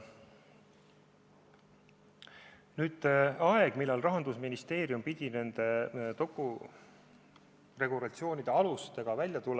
Nüüd ajast, millal Rahandusministeerium pidi regulatsioonide alustega välja tulema.